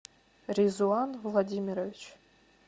резуан владимирович